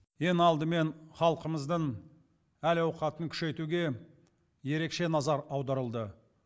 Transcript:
ең алдымен халқымыздың әл ауқатын күшейтуге ерекше назар аударылды